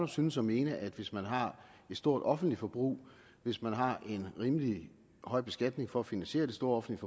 synes at mene at hvis man har et stort offentligt forbrug hvis man har en rimelig høj beskatning for at finansiere det store offentlige